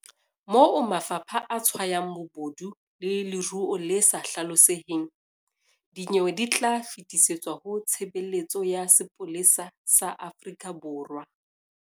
Moo mafapha a tshwayang bobodu le leruo le sa hlaloseheng, dinyewe di tla fetisetswa ho Tshebeletso ya Sepolesa sa Afrika Borwa.